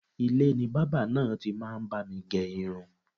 Ilé ni bábà náà ti máa ń bá mi gẹ irun